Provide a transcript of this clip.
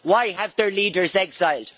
Why have their leaders exiled?